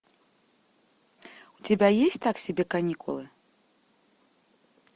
у тебя есть так себе каникулы